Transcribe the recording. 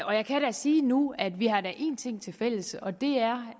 og jeg kan sige nu at vi da har en ting tilfælles og det er